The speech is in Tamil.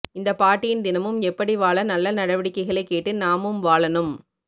இந்த பாட்டியின் தினமும் எப்படி வாழ நல்ல நடவடிக்கைகளை கேட்டு நாமமும் வாழணும்